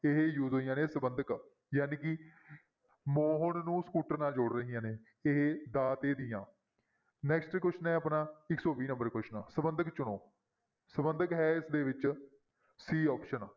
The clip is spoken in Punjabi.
ਇਹ use ਹੋਈਆਂ ਨੇ ਸੰਬੰਧਕ ਜਾਣੀ ਕਿ ਮੋਹਨ ਨੂੰ ਸਕੂਟਰ ਨਾਲ ਜੋੜ ਰਹੀਆਂ ਨੇ ਇਹ ਦਾ, ਦੇ, ਦੀਆਂ next question ਹੈ ਆਪਣਾ ਇੱਕ ਸੌ ਵੀਹ number question ਸੰਬੰਧਕ ਚੁਣੋ ਸੰਬੰਧਕ ਹੈ ਇਸਦੇ ਵਿੱਚ c option